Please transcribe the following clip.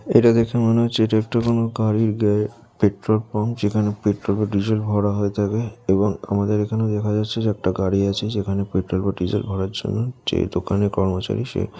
এটা দেখে মনে হচ্ছে এটা একটা কোনও গাড়ির গা পেট্রোল পাম্প যেখানে পেট্রল বা ডিজেল ভরা হয়ে থাকে আমাদের এখানে দেখা যাচ্ছে চারটা গাড়ি আছে পেট্রল বা ডিজেল ভরার জন্য যে দোকানের কর্ম চারি সে--